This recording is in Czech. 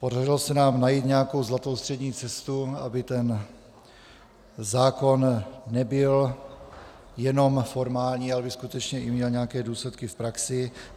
Podařilo se nám najít nějakou zlatou střední cestu, aby ten zákon nebyl jenom formální, ale aby skutečně měl i nějaké důsledky v praxi.